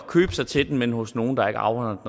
købe sig til den men hos nogle der ikke afregner